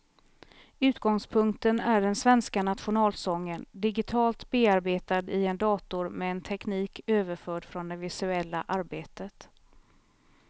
Utgångspunkten är den svenska nationalsången, digitalt bearbetad i en dator med en teknik överförd från det visuella arbetet.